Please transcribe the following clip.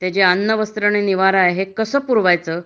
हे अन्न, वस्त्र, निवारा कसं पुरवायचं